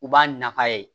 U b'a nafa ye